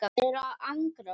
Þeir eru að angra okkur.